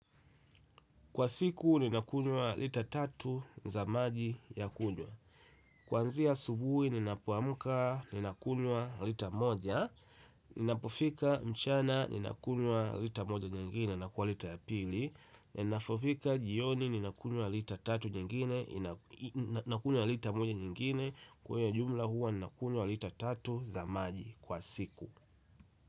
Kwa siku ninakunywa lita tatu za maji ya kunywa kwanzia asubuhi ninapoamka ninakunywa lita moja. Ninapofika mchana ninakunywa lita moja nyingine na kwa lita ya pili. Ninapofika jioni nina kunywa lita tatu nyingine na kunywa lita moja nyingine kwa hiyo jumla huwa nina kunywa lita tatu za maji kwa siku.